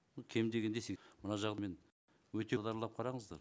кем дегенде мына жағымен өте қараңыздар